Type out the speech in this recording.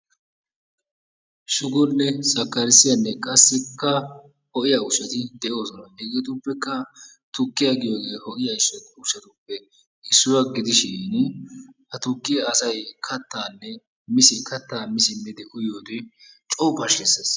Shugonne sakkarissiyanne qassikka ho'iya ushshati de'oosona. Hegeetippekka tukkiya giyogee ho'iya ushshatuppe issuwa gidishin ha tukkiya asay kattaa mi simmidi uyiyode coo pashkkisses.